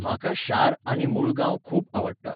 म्हाका शार आनी मुळगांव खूब आवडटा.